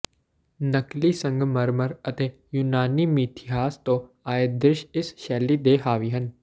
ਨਕਲੀ ਸੰਗਮਰਮਰ ਅਤੇ ਯੂਨਾਨੀ ਮਿਥਿਹਾਸ ਤੋਂ ਆਏ ਦ੍ਰਿਸ਼ ਇਸ ਸ਼ੈਲੀ ਤੇ ਹਾਵੀ ਹਨ